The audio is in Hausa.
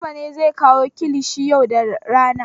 Garba ne zai kawo kilishin yau da rana.